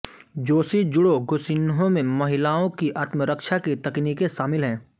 Joshi judo गोशिन्हो में महिलाओं की आत्मरक्षा की तैक्नीकें शामिल हैं